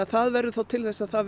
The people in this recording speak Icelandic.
það verður þá til þess að það